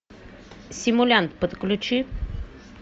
симулянт подключи